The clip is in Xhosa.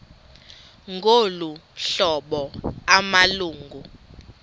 ngolu hlobo amalungu